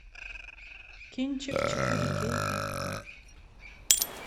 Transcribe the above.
кинчик четыре кей окко